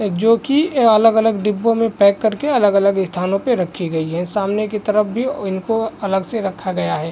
ए जो की ए अलग-अलग डिब्बों में पैक कर के अलग-अलग स्थानों पे रखी गई है। सामने की तरफ भी इनको अलग से रखा गया हैं ।